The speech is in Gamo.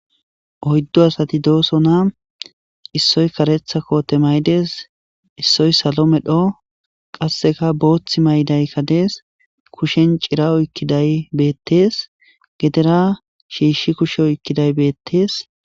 Oyddu asati doosona issoy karetha koote maydes issoy salo medho qasseka booththi maydaykkadees kushen cira oykkiday beettees gedera shiishshi kushe oykkiday beettees.